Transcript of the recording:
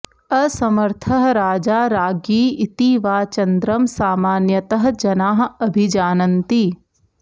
असमर्थः राजा राज्ञी इति वा चन्द्रं सामान्यतः जनाः अभिजानन्ति